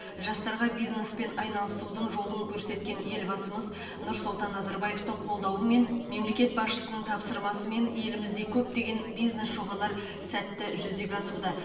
жастарға бизнеспен айналысудың жолын көрсеткен елбасымыз нұрсұлтан назарбаевтың қолдауымен мемлекет басшысының тапсырмасымен елімізде көптеген бизнес жобалар сәтті жүзеге асуда